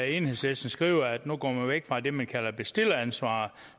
enhedslisten skriver at nu går man væk fra det man kalder bestilleransvar